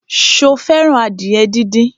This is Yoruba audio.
Sọ fẹ́ràn adìyẹ díndín?